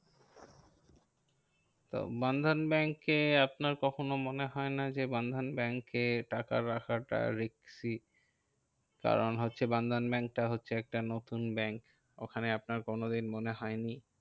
তো বন্ধন ব্যাঙ্কে আপনার কখনো মনে হয় না যে, বন্ধন ব্যাঙ্কে টাকা রাখাটা risky কারণ হচ্ছে বন্ধন ব্যাঙ্কটা হচ্ছে একটা নতুন ব্যাঙ্ক ওখানে আপনার কোনো দিন মনে হয়নি?